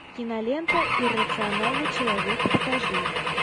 кинолента иррациональный человек покажи